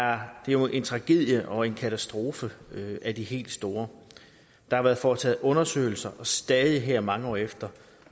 er jo en tragedie og en katastrofe af de helt store der har været foretaget undersøgelser og stadig her mange år efter